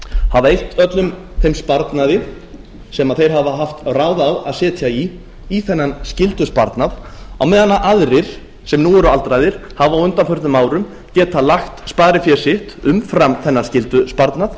hafa eytt öllum þeim sparnaði sem þeir hafa haft ráð á að setja í í þennan skyldusparnað á meðan aðrir sem nú eru aldraðir hafa á undanförnum árum getað lagt sparifé sitt umfram þennan skyldusparnað